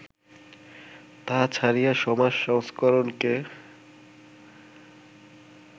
তাহা ছাড়িয়া, সমাজ সংস্করণকে